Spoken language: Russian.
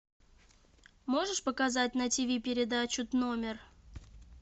можешь показать на тиви передачу номер